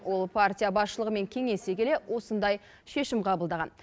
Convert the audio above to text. ол партия басшылығымен кеңесе келе осындай шешім қабылдаған